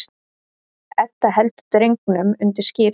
Edda heldur drengnum undir skírn.